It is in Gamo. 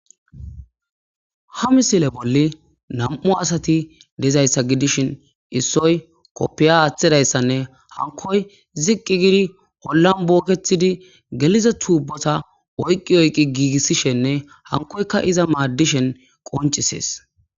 ha misile bolli nam7u asati dezayssa gidishin issoy koppiya aaththidayssanne hankoy ziqqi gidi hollan bookethidi gelize tuubota oyqi oyqi giigissishenne hankoyka iza maaddishen qoncisees